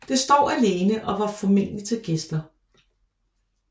Det står alene og var formentligt til gæster